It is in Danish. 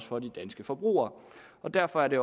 for de danske forbrugere derfor er det